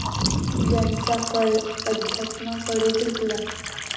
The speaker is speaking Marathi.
यांचा कल अध्यात्माकडे झुकला.